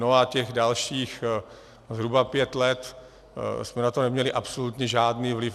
No, a těch dalších zhruba pět let jsme na to neměli absolutně žádný vliv.